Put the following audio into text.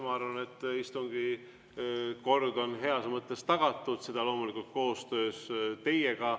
Ma arvan, et istungi kord on heas mõttes tagatud, seda loomulikult koostöös teiega.